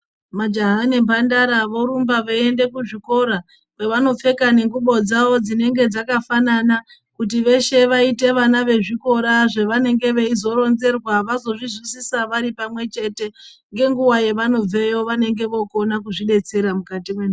Majaha nemhandara vorumba veienda kuzvikora kwevanopfeka nengubo dzavo dzinenge dzakafanana kuti veshe vaite vama vezvikora zvavanenge veizoronzerwa vazozvuzwisisa vari pamwechete ngenguwa yevanobveyo vanenge vokona kuzvidetsera mukati mwendaramo dzavo.